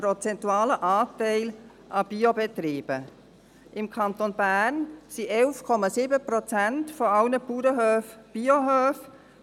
Im Kanton Bern sind 11,7 Prozent aller Bauernhöfe Biohöfe.